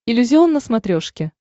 иллюзион на смотрешке